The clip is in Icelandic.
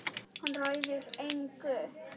Hann ræður engu.